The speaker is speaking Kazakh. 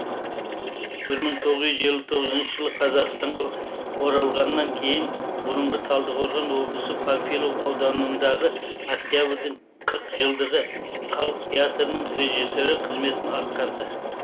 бір мың тоғыз жүз елу тоғызыншы жылы қазақстанға оралғаннан кейін бұрынғы талдықорған облысы панфилов ауданындағы октябрьдің қырық жылдығы халық театрының режиссері қызметін атқарды